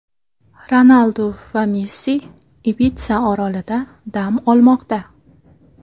Ronaldu va Messi Ibitsa orolida dam olmoqda .